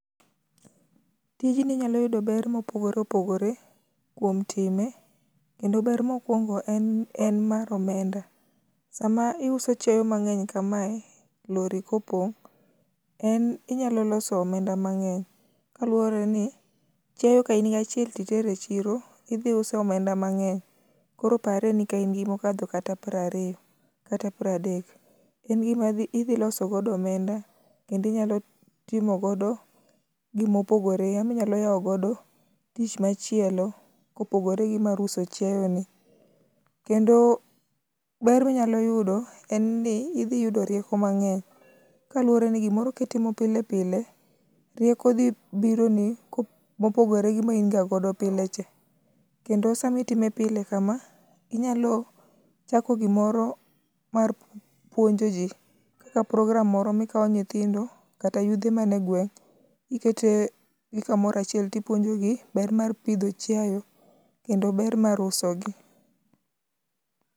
Tijni inyalo yudo ber mopogore opogore kuom time, kendo ber mokuongo en mar omenda. Sama iuso chiayo mang'eny kamae, lori kopong', en inyalo loso omenda mang'eny. Kaluwore ni chiayo ka in gi achiel to itero e chiro, idhi uso omenda mang'eny. Koro pare ni ka in gi mokadho kata prariyo kata pradek, en gima dhi idhi loso godo omenda kendo inyalo timo godo gimopogore ama inyalo yao godo tich machielo kopogore gi mar uso chiayoni. Kendo o ber minyalo yudo en ni, idhi yudo rieko mang'eny kaluwore ni gimoro kitimo pile pile, rieko dhi bironi kop mopogore ma in ga godo pile cha. Kendo sama itime pile kama, inyalo chako gimoro mar puonjo ji kaka proogramme moro minyalo kao nyithindo kata yudhe man e gweng', ikete gi kamoro achiel tipuonjo gi ber mar pidho chiayo kendo ber mar usogi.